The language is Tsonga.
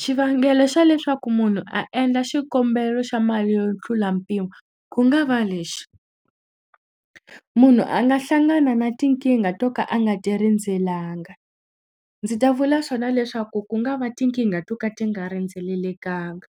Xivangelo xa leswaku munhu a endla xikombelo xa mali yo tlula mpimo ku nga va lexi munhu a nga hlangana na tinkingha to ka a nga ti rindzelanga ndzi ta vula swona leswaku ku nga va tinkingha to ka ti nga rindzelelekanga